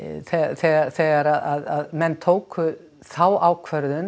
þegar þegar þegar menn tóku þá ákvörðun